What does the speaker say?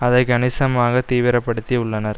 அதை கணிசமாக தீவிரப்படுத்தியுள்ளனர்